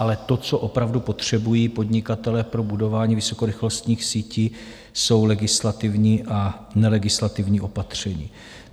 Ale to, co opravdu potřebují podnikatelé pro budování vysokorychlostních sítí, jsou legislativní a nelegislativní opatření.